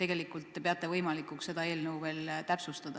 te peate võimalikuks seda eelnõu veel täpsustada.